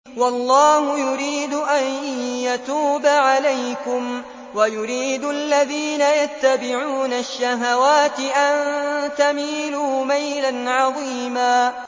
وَاللَّهُ يُرِيدُ أَن يَتُوبَ عَلَيْكُمْ وَيُرِيدُ الَّذِينَ يَتَّبِعُونَ الشَّهَوَاتِ أَن تَمِيلُوا مَيْلًا عَظِيمًا